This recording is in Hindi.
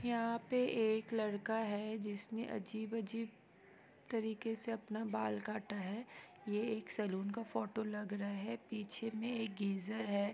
यहाँ पे एक लड़का है जिसने अजीब-अजीब तरीके से अपना बाल काटा है ये एक सलोन का फोटो लग रहा है पीछे मे एक गीज़र है।